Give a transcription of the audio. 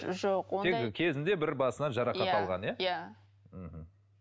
жоқ ондай кезінде бір басынан жарақат алған иә иә мхм